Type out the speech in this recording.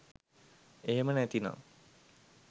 එහෙම නැති නම්